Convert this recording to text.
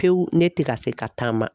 Pewu, ne tɛ ka se ka taama.